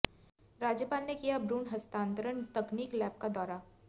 राज्यपाल ने किया भ्रूण हस्तांतरण तकनीक लैब का दौरा